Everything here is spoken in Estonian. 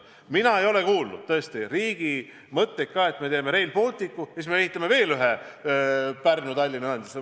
Mina ei ole kuulnud riigilt selliseid mõtteid, et teeme Rail Balticu ja siis ehitame veel ühe Pärnu–Tallinna ühenduse.